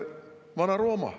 Vana-Rooma.